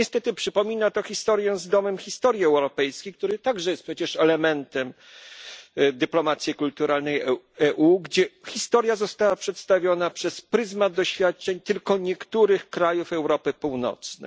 Niestety przypomina to historię z Domem Historii Europejskiej, który także jest przecież elementem dyplomacji kulturalnej Unii Europejskiej, gdzie historia została przedstawiona przez pryzmat doświadczeń tylko niektórych krajów Europy Północnej.